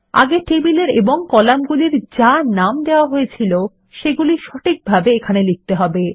আগে টেবিলের এবং কলামগুলির যা নাম দেওয়া হয়েছিল সেগুলি সঠিকভাবে এখানে লিখতে হবে